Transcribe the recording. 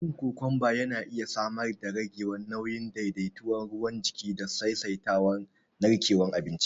Cin kokomba yana iya samar darage nauyi, daidaita ruwan jiki da saisaita narkewar abinci